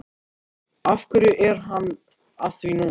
Af hverju er hann að því núna?